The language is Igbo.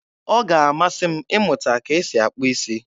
Ọ ga-amasị m ịmụta ka esi akpụ isi